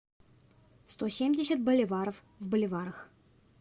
сто семьдесят боливаров в боливарах